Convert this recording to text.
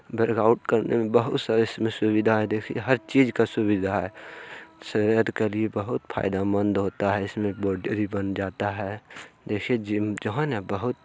workout करने में बहुत सारी सुविधा देखिये हर चीज़ का सुविधा हे शरीर के लिए बहुत फायदेमंद होता हे इस में बॉडी वोडी बन जाता हे देखिये जीम जाना बहुत--